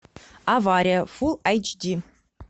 авария фул айч ди